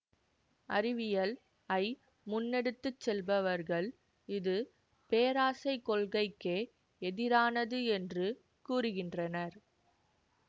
அறிவியல் ஐ முன்னெடுத்து செல்பவர்கள் இது பேராசை கொள்கைக்கே எதிரானது என்று கூறுகின்றனர்